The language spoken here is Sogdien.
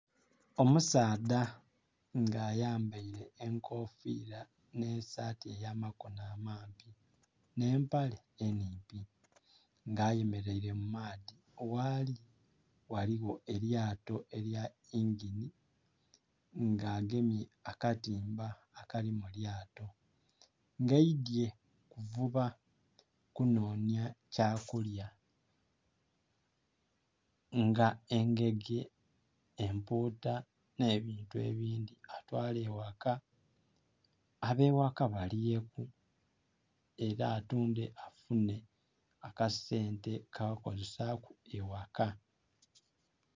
Omusaadha nga ayambaile enkofiira nh'esaati ey'amakono amampi nh'empale enhimpi nga ayemeleile mu maadhi, ghali ghaligho elyato elya yingini nga agemye akatimba akali mu lyato, nga aidhye kuvuba kunhonya kyakulya nga engege, empuuta nh'ebintu ebindhi atwale eghaka ab'eghaka balyeku era atundhe afunhe akasente k'okozesaaku eghaka.